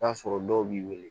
N'a sɔrɔ dɔw b'i wele